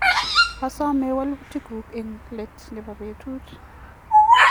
asome walutieng'ung eng let nebo betut